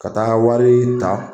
Ka taa wari ta